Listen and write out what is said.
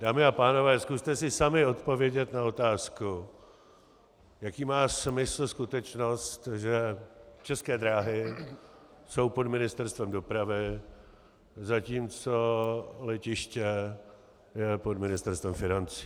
Dámy a pánové, zkuste si sami odpovědět na otázku, jaký má smysl skutečnost, že České dráhy jsou pod Ministerstvem dopravy, zatímco letiště je pod Ministerstvem financí.